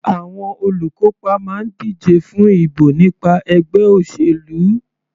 Àwọn olùkópa máa ń díje fún ìbò nípa ẹgbẹ́ òṣèlú.